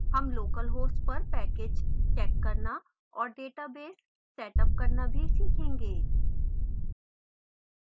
हम localhost पर packages check करना और database setup करना भी सीखेंगे